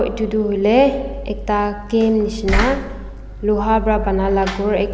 To do hoile ekta can neshna loha bera banala khor ek--